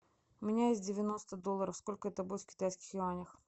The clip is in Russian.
у меня есть девяносто долларов сколько это будет в китайских юанях